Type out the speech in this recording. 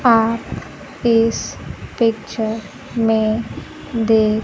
आप इस पिक्चर में देख--